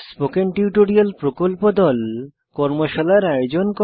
spoken tutorial প্রকল্প দল কর্মশালার আয়োজন করে